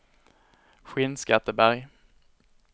Skinnskatteberg